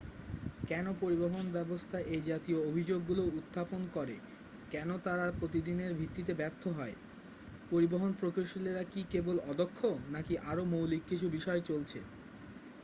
কেন পরিবহন ব্যাবস্থা এই জাতীয় অভিযোগগুলো উত্থাপন করে কেন তাঁরা প্রতিদিনের ভিত্তিতে ব্যর্থ হয় পরিবহন প্রকৌশলীরা কি কেবল অদক্ষ নাকি আরও মৌলিক কিছু বিষয় চলছে